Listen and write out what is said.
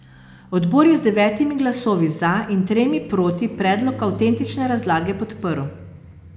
Odbor je z devetimi glasovi za in tremi proti predlog avtentične razlage podprl.